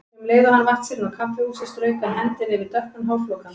Um leið og hann vatt sér inn á kaffihúsið strauk hann hendinni yfir dökkan hárflókann.